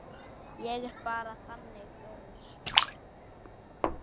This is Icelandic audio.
Ég er bara þannig gaur.